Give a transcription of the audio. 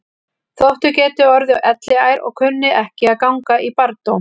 Þótt þau geti orðið elliær og kunni ekki að ganga í barndóm.